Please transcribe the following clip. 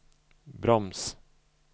broms